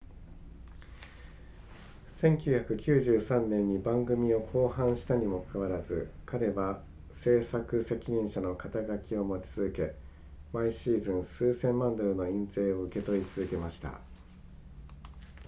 1993年に番組を降板したにもかかわらず彼は制作責任者の肩書きを持ち続け毎シーズン数千万ドルの印税を受け取り続けました